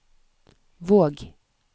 Våg